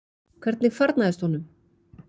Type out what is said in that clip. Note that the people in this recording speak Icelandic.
Hvernig farnaðist honum?